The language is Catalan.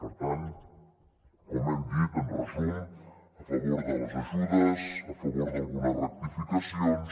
per tant com hem dit en resum a favor de les ajudes a favor d’algunes rectificacions